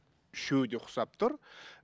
үшеуі де ұқсап тұр